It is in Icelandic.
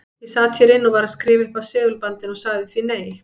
Ég sat hér inni og var að skrifa upp af segulbandinu og sagði því nei.